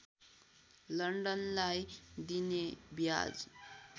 लन्डनलाई दिइने ब्याज